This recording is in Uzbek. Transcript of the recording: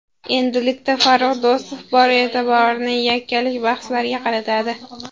Endilikda Farrux Do‘stov bor e’tiborini yakkalik bahslariga qaratadi.